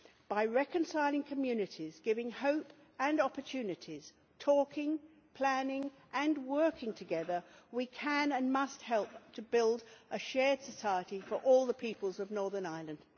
By reconciling communities, giving hope and opportunities, talking, planning and working together, we can and must help to build a shared society for all the peoples of Northern Ireland.